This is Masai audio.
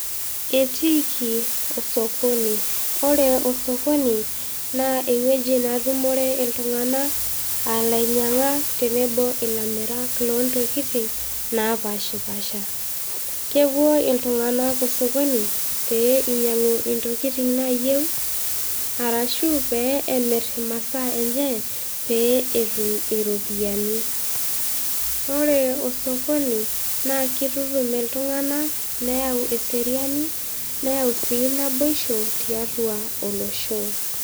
Etiiki osokoni, ore osokoni naa eweji natumore ltunganak aa lainyang'ak tenebo ill'amirak loo ntokitin naapashipaasha. Kepoo oltunganak esokoni pee einyang'u intokitin naaayeu arashu pee emirr masaa enyee pee etum iropiyiani, naaku oree esokoni naa keitutum iltunganak neyau eseriani neyau sii enaboisho tiatua oloshoo.